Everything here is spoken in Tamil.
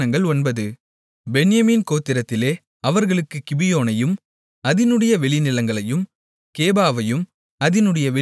பென்யமீன் கோத்திரத்திலே அவர்களுக்குக் கிபியோனையும் அதினுடைய வெளிநிலங்களையும் கேபாவையும் அதினுடைய வெளிநிலங்களையும்